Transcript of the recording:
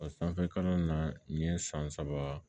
O sanfɛ kalan na nin ye san saba